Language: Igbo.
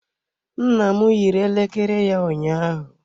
Nna m yiri elekere ya ụnyaahụ.